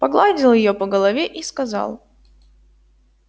погладил её по голове и сказал